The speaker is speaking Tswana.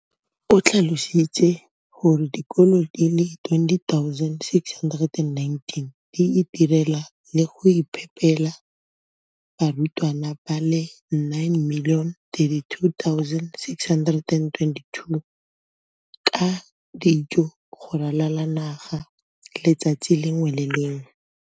O tlhalositse gore dikolo di le 20 619 di itirela le go iphepela barutwana ba le 9 032 622 ka dijo go ralala naga letsatsi le lengwe le le lengwe.